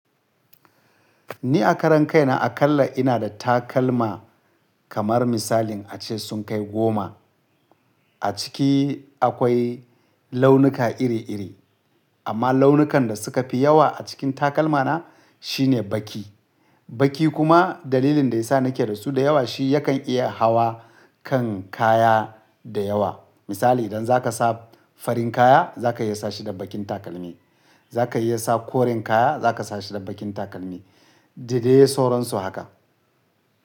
Ni a karan kai na a kala ina da takalma kamar misalin a ce sun kai goma. A ciki akwai launuka iri iri, amma launukan da suka fi yawa a cikin takalma na shine baki. Baki kuma dalilin da ya sa nake da su da yawa shi yakan iya hawa kan kaya da yawa. Misali idan zaka sa farin kaya zaka iya sa shi da bakin takalmi, zaka iya sa koren kaya zaka sa shi da bakin takalmi. Dadai sauransu haka.